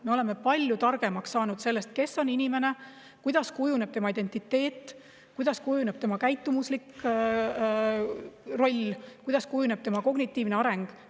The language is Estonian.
Me oleme palju targemaks saanud sellest, kes on inimene, kuidas kujuneb tema identiteet, kuidas kujuneb tema käitumuslik roll ja kuidas kujuneb tema kognitiivne areng.